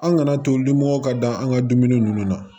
An kana to limɔgɔw ka da an ka dumuni ninnu na